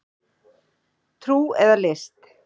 Trú eða list